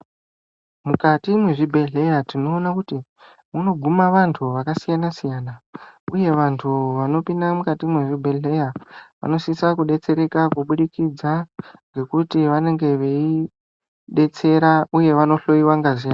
Mukati mwezvibhedhlera tinoone kuti munoguma vantu vakasiyana siyana uye vantu vanopinda mukati mwezvibhedhlera vanositsa kudetsereka kuburikidza ngekuti vanenge veidetsera uye vandohloiwa ngazi yavo.